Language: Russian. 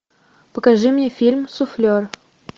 покажи мне фильм суфлер